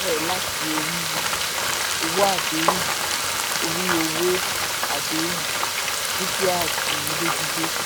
òwò àdàpọ̀ bẹ̀rẹ̀ láti orí owó àdéhùn orí owó àdéhùn dúkìá àti ilé gbígbé.